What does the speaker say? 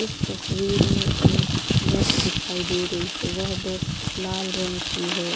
اس تشویر مے ایک بس دکھائی دے رہی ہے۔ وہ بس لال رنگ کی ہے۔